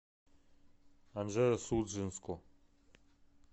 анжеро судженску